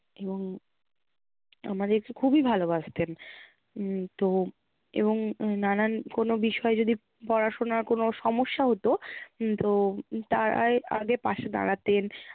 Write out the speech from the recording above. উম আমাদেরকে খুবই ভালোবাসতেন উম তো এবং নানান কোনো বিষয়ে যদি পড়াশোনার কোনো সমস্যা হতো উম তো তারাই আগে পাশে দাঁড়াতেন